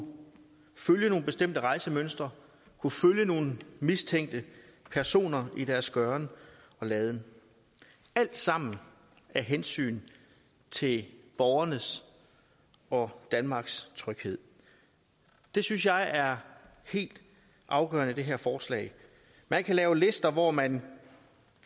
følge nogle bestemte rejsemønstre kunne følge nogle mistænkte personer i deres gøren og laden alt sammen af hensyn til borgernes og danmarks tryghed det synes jeg er helt afgørende i det her forslag man kan lave lister hvor man